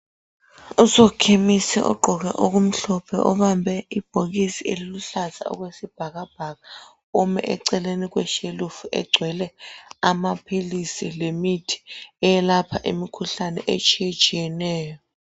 Usokhemisi ogqoke okumhlophe obambe ibhokisi eliluhlaza okwesibhakabhaka ume eceleni kweshelufu egcwele amaphilisi lemithi eyelapha imikhuhlane etshiye tshiyeneyo.